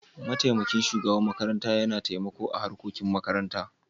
Mataimakin shugaban makaranta Yana taimaka a harkokin makaranta.